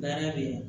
Baara bɛ yen